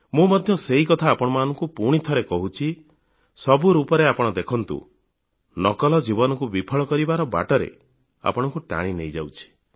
ମୁଁ ମଧ୍ୟ ସେହିକଥା ଆପଣଙ୍କୁ ପୁଣିଥରେ କହୁଛି ସବୁ ରୂପରେ ଆପଣ ଦେଖନ୍ତୁ ନକଲ ଜୀବନକୁ ବିଫଳ କରିବାର ବାଟରେ ଆପଣଙ୍କୁ ଟାଣି ନେଇଯାଉଛି